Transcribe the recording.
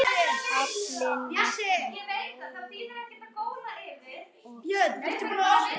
Aflinn var grálúða og karfi.